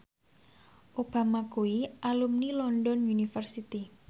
Obama kuwi alumni London University